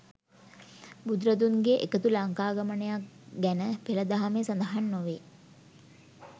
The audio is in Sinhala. බුදුරදුන්ගේ එකදු ලංකාගමනක් ගැන පෙළ දහමේ සඳහන් නොවේ